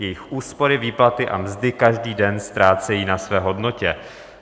Jejich úspory, výplaty a mzdy každý den ztrácejí na své hodnotě.